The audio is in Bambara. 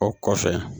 O kɔfɛ